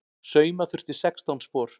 Sauma þurfti sextán spor.